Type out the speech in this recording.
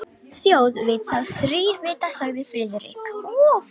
Þjóð veit þá þrír vita sagði Friðrik.